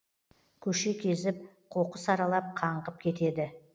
көше кезіп қоқыс аралап қаңғып кетеді